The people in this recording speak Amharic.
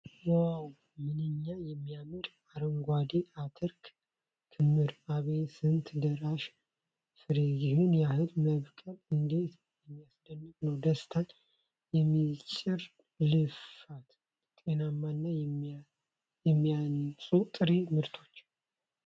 ዋው! ምንኛ የሚያምር የአረንጓዴ አተር ክምር ! አቤት ስንት ደራሽ ፍሬ። ይህን ያህል መብቀሉ እንዴት የሚያስደንቅ ነው። ደስታን የሚጭር ልፋት። ጤናማና የሚያንጹ ጥሬ ምርቶች።